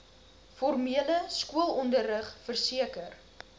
formele skoolonderrig verseker